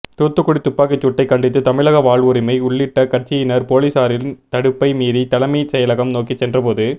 தூத்துக்குடி துப்பாக்கிச்சூட்டை கண்டித்து தமிழக வாழ்வுரிமை உள்ளிட்ட கட்சியினர் போலீசாரின் தடுப்பை மீறி தலைமை செயலகம் நோக்கி சென்றபோது